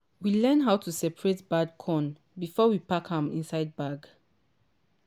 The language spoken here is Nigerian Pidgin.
we learn how to separate bad corn before we pack am inside bag.